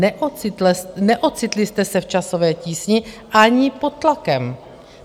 Neocitli jste se v časové tísni ani pod tlakem.